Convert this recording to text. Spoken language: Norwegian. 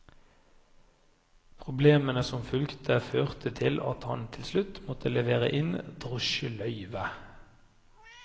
Problemene som fulgte førte til at han til slutt måtte levere inn drosjeløyvet.